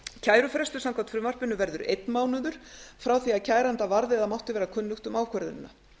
kærufrestur samkvæmt frumvarpinu verður einn mánuður frá því kæranda mátti vera það kunnugt um ákvörðunina